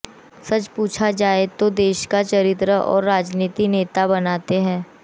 सच पूछा जाए तो देश का चरित्र राजनीति और नेता बनाते हैं